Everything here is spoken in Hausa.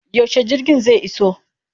Yaushe jirgin zai iso?